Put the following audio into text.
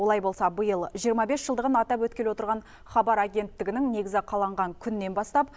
олай болса биыл жиырма бес жылдығын атап өткелі отырған хабар агенттігінің негізі қаланған күннен бастап